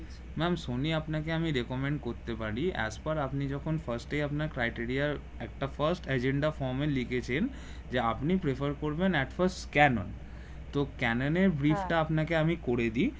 ma'am সনি আপনাকে requirement করতে পারি এস্পার আপনি যখন fast এ আপনার criteria একটা first agenda from এ লেখেছেন যে আপনি prefer করবেন at fast ক্যানোনের তো ক্যানোনের brief টা আপানাকে করে দি